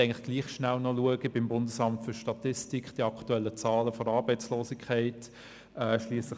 Aber ich habe dann doch gedacht, ich könnte noch schnell die aktuellen Zahlen der Arbeitslosigkeit beim BFS nachschlagen.